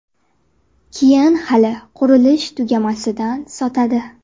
Keyin hali qurilish tugamasidan sotadi.